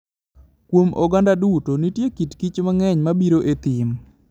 Kuom oganda duto, nitie kit kich mang'eny ma biro e thim.